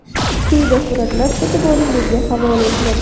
Quyida suratlar e’tiboringizga havola etiladi.